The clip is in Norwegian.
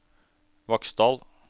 Vaksdal